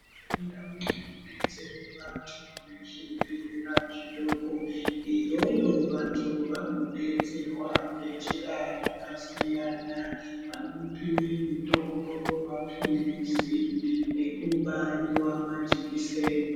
Ndau dzinodetsera vanthu nezvibhedlera zvidoko iyoyo vanthu vanodetserwa ngenjira dzakasiyana. Vanomupa mutombo ,mapilizi nekubaiwa majikiseni.